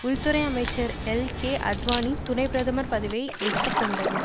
உள்துறை அமைச்சர் எல்கேஅத்வானி துணை பிரதமர் பதவியை எடுத்து கொண்டிருக்கிறார்